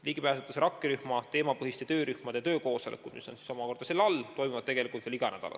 Ligipääsetavuse rakkerühma teemapõhiste töörühmade töökoosolekud toimuvad tegelikult veel iga nädal.